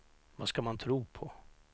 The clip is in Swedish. Vad ska man tro på?